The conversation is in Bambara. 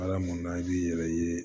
Alaminna i b'i yɛrɛ ye